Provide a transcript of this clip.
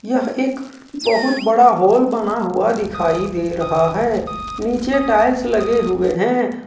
यह एक बहुत बड़ा हाल बना हुआ दिखाई दे रहा है नीचे टाइल्स लगे हुए हैं।